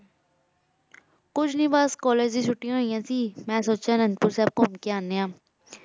ਕੁਛ ਨਾਈ ਬਾਸ college ਤੋਂ ਚੁਤਿਯਾਂ ਹੋਈਯਾਂ ਸੀ ਮੈਂ ਸੋਚ੍ਯਾਂ ਘੁਮ ਕੇ ਆਨੀ ਆਂ